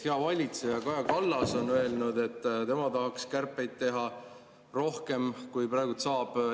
Hea valitseja Kaja Kallas on öelnud, et tema tahaks kärpeid teha rohkem, kui praegu saab.